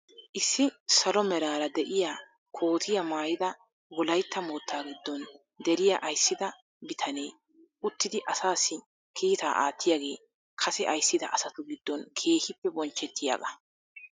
Issi salo meraara de'iyaa kootiyaa maayida wolaytta moottaa giddon deriyaa ayssida bitanee uttidi asassi kiitaa aattiyaagee kase ayssida asatu giddon keehippe bonchchetiyaagaa.